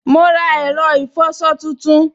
Mo ra ẹ̀rọ ìfọsọ tuntun